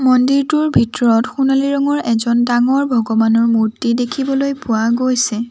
মন্দিৰটোৰ ভিতৰত সোণালী ৰঙৰ এজন ডাঙৰ ভগবানৰ মূৰ্তি দেখিবলৈ পোৱা গৈছে।